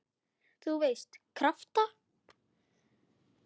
þú veist- krafta.